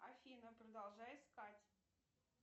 афина продолжай искать